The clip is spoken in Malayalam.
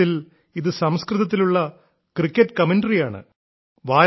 വാസ്തവത്തിൽ ഇത് സംസ്കൃതത്തിലുള്ള ക്രിക്കറ്റ് കമന്ററിയാണ്